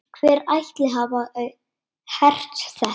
Hver ætli hafi hert þetta?